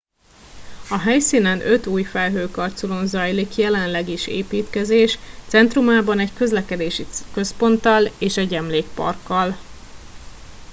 a helyszínen öt új felhőkarcolón zajlik jelenleg is építkezés centrumában egy közlekedési központtal és egy emlékparkkal